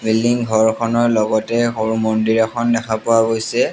Building ঘৰখনৰ লগতে সৰু মন্দিৰ এখন দেখা পোৱা গৈছে।